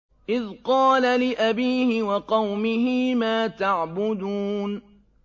إِذْ قَالَ لِأَبِيهِ وَقَوْمِهِ مَا تَعْبُدُونَ